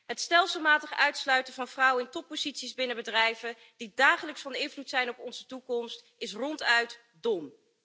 Het stelselmatig uitsluiten van vrouwen in topposities binnen bedrijven die dagelijks van invloed zijn op onze toekomst, is ronduit dom.